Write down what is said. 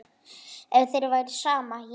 Ef þér væri sama, já.